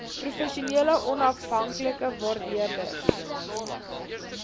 professionele onafhanklike waardeerders